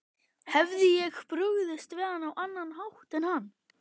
Hefði ég brugðist við á annan hátt en hann?